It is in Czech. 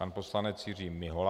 Pan poslanec Jiří Mihola.